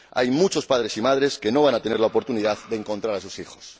Hay muchos padres y madres que no van a tener la oportunidad de encontrar a sus hijos.